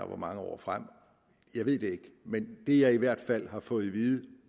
hvor mange år frem jeg ved det ikke men det jeg i hvert fald har fået at vide